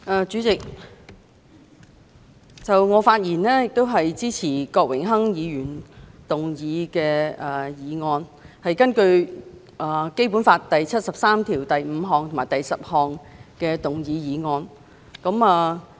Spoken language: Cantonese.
主席，我發言支持郭榮鏗議員根據《基本法》第七十三條第五項及第十項動議的議案。